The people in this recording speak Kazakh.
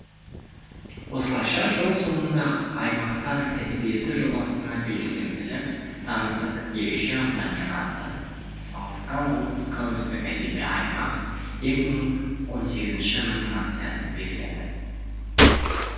осылайша жыл соңында аймақтар әдебиеті жобасына белсенділік танытып ерекше ынтамен атсалысқан облысқа үздік әдеби аймақ екі мың он сегізінші номинациясы беріледі